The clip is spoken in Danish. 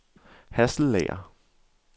Hasselager